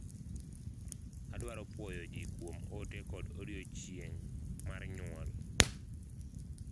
adwaro puoyo jii kuom ote kod odiochieng' mar nyuol